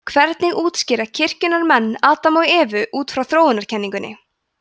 hvernig útskýra kirkjunnar menn adam og evu út frá þróunarkenningunni